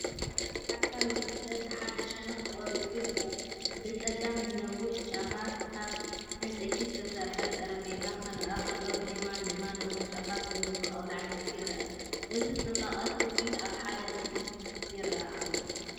ኣብዚ ኣካል ወዲ ሰብ ብሓደ ሸነኽ ተቖሪጹ ይርአ። ብጸጋም ብነዊሕ ጫፋት ካብ ዕንጸይቲ ዝተሰርሐ ጠረጴዛ ክርአ ከሎ፡ ብየማን ድማ ነዊሕ ጫፋት ዘለዎ ጣውላ ዕንጸይቲ ይርአ። እዚ ጽባቐን ትውፊትን ኣብ ሓደ ምስሊ ይረአ ኣሎ።